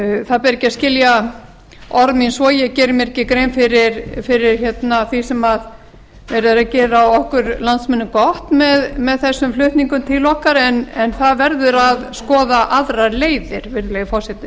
það ber ekki að skilja orð mín svo að ég geri mér ekki grein fyrir því sem verið er að gera okkur landsmönnum gott með þessum flutningum til okkar en það verður að skoða aðrar leiðir virðulegi forseti